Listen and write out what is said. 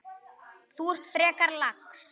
Þú ert frekar lax.